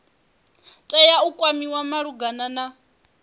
tea u kwamiwa malugana na